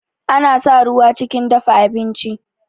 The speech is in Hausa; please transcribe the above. Ana sa ruwa chikin dafa abinchi